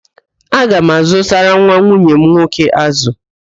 Aga m azụtara nwa nwunye m nwoke ázụ̀